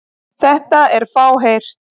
Þetta er fáheyrt.